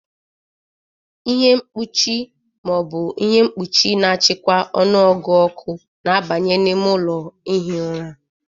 Ihe mkpuchi ma ọ bụ ihe mkpuchi na-achịkwa ọnụọgụ ọkụ na-abanye n'ime ụlọ ihi ụra.